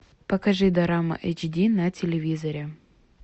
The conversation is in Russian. покажи дорама эйч ди на телевизоре